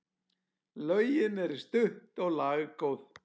Lögin eru stutt og laggóð.